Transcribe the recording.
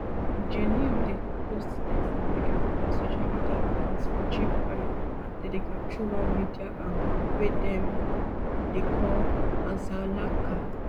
jnim dey post text and video for dia social media accounts for chirpwire and telegram through one media arm wey dem dey call alzallaqa